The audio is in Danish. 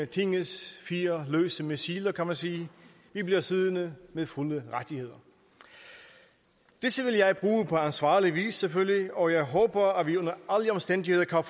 tingets fire løse missiler kan man sige bliver siddende med fulde rettigheder disse vil jeg bruge på ansvarlig vis selvfølgelig og jeg håber at vi under alle omstændigheder kan